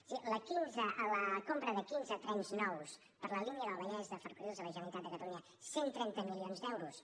és a dir la compra de quinze trens nous per a la línia del vallès de ferrocarrils de la generalitat de catalunya cent i trenta milions d’euros